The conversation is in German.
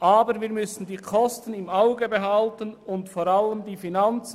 Aber wir müssen die Kosten und vor allem die Finanzen im Auge behalten.